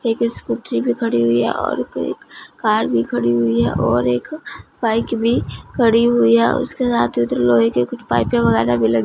एक स्कूटरी भी खड़ी हुई है और एक कार भी खड़ी हुई है और एक बाइक भी खड़ी हुई है और उसके साथ में उधर लोहे की कुछ पाइपें वगैरा भी लगे --